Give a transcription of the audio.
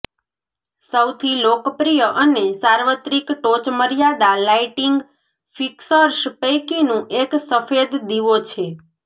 સૌથી લોકપ્રિય અને સાર્વત્રિક ટોચમર્યાદા લાઇટિંગ ફિક્સર્સ પૈકીનું એક સફેદ દીવો છે